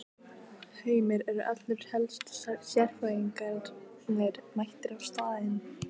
Heimir, eru allir helstu sérfræðingarnir mættir á staðinn?